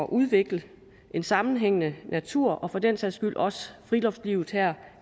udvikle en sammenhængende natur og for den sags skyld også friluftslivet her